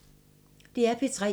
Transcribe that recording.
DR P3